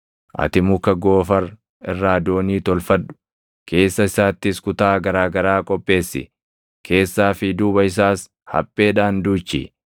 Ati muka Goofar irraa doonii tolfadhu; keessa isaattis kutaa garaa garaa qopheessi; keessaa fi duuba isaas hapheedhaan duuchi.